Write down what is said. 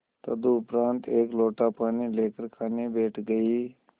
तदुपरांत एक लोटा पानी लेकर खाने बैठ गई